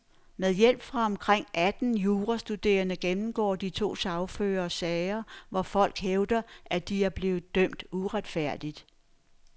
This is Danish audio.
Med hjælp fra omkring atten jurastuderende gennemgår de to sagførere sager, hvor folk hævder, at de er blevet dømt uretfærdigt.